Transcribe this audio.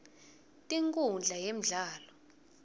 tinkundla yemdlalo